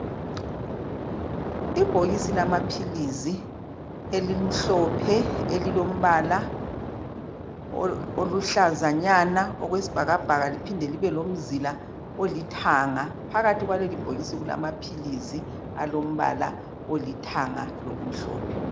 Ibhokisi lama pills elimhlophe elilombala olihlazanyana okwesibhakabhaka liphinde libe lomzila olithanga phakathi kwaleli bhokisi kulama pills alombala olithanga lokumhlophe